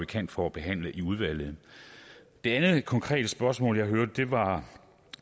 kan for at behandle i udvalget det andet konkrete spørgsmål jeg hørte var